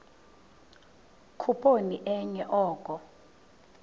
khuphoni enye oko